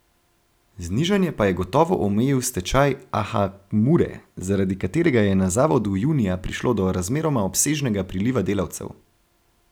Znižanje pa je gotovo omejil stečaj Aha Mure, zaradi katerega je na zavodu junija prišlo do razmeroma obsežnega priliva delavcev.